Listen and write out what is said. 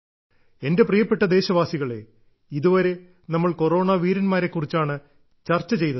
എന്റെ പ്രിയപ്പെട്ട ദേശവാസികളെ ഇതുവരെ നമ്മൾ കൊറോണ പോരാളികളെ കുറിച്ചാണ് ചർച്ച ചെയ്തത്